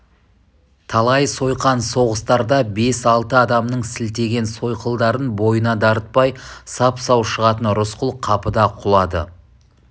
талай сойқан соғыстарда бес-алты адамның сілтеген сойылдарын бойына дарытпай сап-сау шығатын рысқұл қапыда құлады